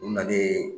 U nana ni